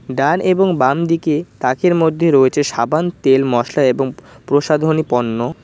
ডান এবং বামদিকে তাকের মধ্যে রয়েছে সাবান তেল মশলা এবং প-প্রসাধনী পণ্য।